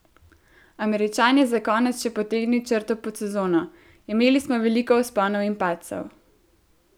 Američan je za konec še potegnil črto pod sezono: "Imeli smo veliko vzponov in padcev.